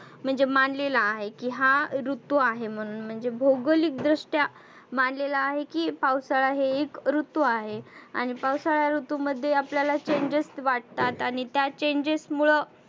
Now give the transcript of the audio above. म्हणजे मानलेला आहे. की हा ऋतू आहे म्हणुन. म्हणजे भौगोलीक दृष्ट्या मानलेला आहे की पावसाळा हे ही ऋतू आहे. आणि पावसाळा ऋतूमध्ये आपल्याला changes वाटतात. आणि त्या changes मुळ